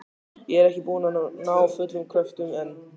Og er ekki búin að ná fullum kröftum enn.